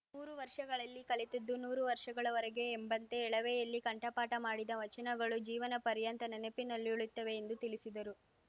ಮೂರು ವರ್ಷಗಳಲ್ಲಿ ಕಲಿತದ್ದು ನೂರು ವರ್ಷಗಳವರೆಗೆ ಎಂಬಂತೆ ಎಳವೆಯಲ್ಲಿ ಕಂಠಪಾಠ ಮಾಡಿದ ವಚನಗಳು ಜೀವನ ಪರ್ಯಂತ ನೆನಪಿನಲ್ಲುಳಿಯುತ್ತವೆ ಎಂದು ತಿಳಿಸಿದರು